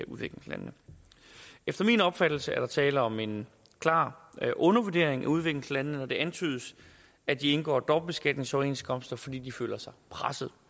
udviklingslandene efter min opfattelse er der tale om en klar undervurdering af udviklingslandene når det antydes at de indgår dobbeltbeskatningsoverenskomster fordi de føler sig presset